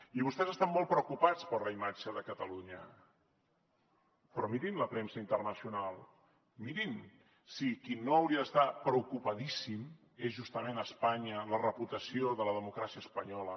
i vostès estan molt preocupats per la imatge de catalunya però mirin la premsa internacional mirin si qui no hauria d’estar preocupadíssim és justament espanya la reputació de la democràcia espanyola